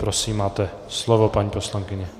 Prosím, máte slovo, paní poslankyně.